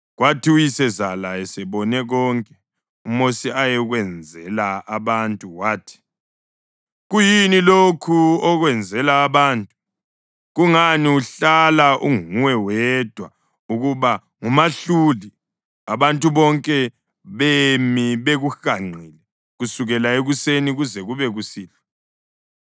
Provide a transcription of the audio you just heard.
Kwathi uyisezala esebone konke uMosi ayekwenzela abantu wathi, “Kuyini lokhu okwenzela abantu? Kungani uhlala unguwe wedwa ukuba ngumahluli, abantu bonke bemi bekuhanqile kusukela ekuseni kuze kube kusihlwa?”